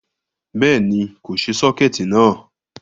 Béèni, kò ṣe sọ́kẹ̀tí náà